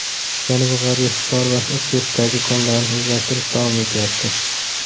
Janubi-g‘arbiy Hisor va Ustyurtdagi konlarni o‘zlashtirish davom etyapti.